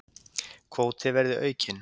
Kvóti verði aukinn